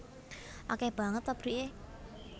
Akeh banget pabrike